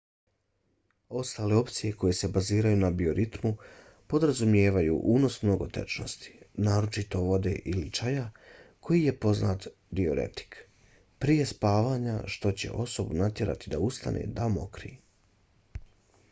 ostale opcije koje se baziraju na bioritmu podrazumijevaju unos mnogo tečnosti naročito vode ili čaja koji je poznati diuretik prije spavanja što će osobu natjerati da ustane da mokri